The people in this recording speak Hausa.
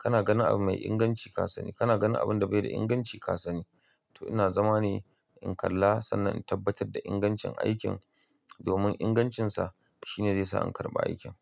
kana ganin abu mai inganci ka sani, kana ganin abun da bai da inganci ka sani. To ina zama ne in kalla sannan in tabbatar da ingancin aikin. Domin ingancinsa shine zai sa in karɓi aikin.